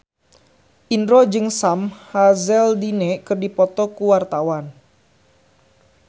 Indro jeung Sam Hazeldine keur dipoto ku wartawan